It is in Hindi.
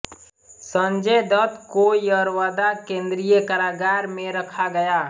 संजय दत्त को यरवदा केंद्रीय कारागार में रखा गया